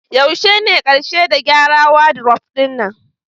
Yaushe ne karshe da gyara wadiruf ɗin nan?